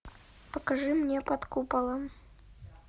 покажи мне под куполом